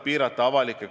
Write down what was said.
Aitäh!